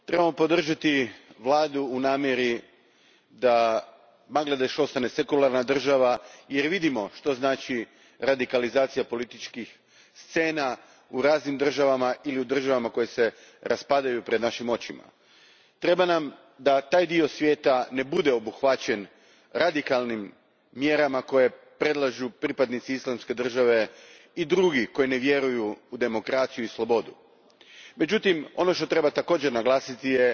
Gospodine predsjedniče, treba nam sekularni Bangladeš. Trebamo podržati vladu u namjeri da Bangladeš ostane sekularna država, jer vidimo što znači radikalizacija političkih scena u raznim državama ili u državama koje se raspadaju pred našim očima. Treba nam da taj dio svijeta ne bude obuhvaćen radikalnim mjerama koje predlažu pripadnici Islamske države i drugi koji ne vjeruju u demokraciju i slobodu. Međutim, ono što također treba naglasiti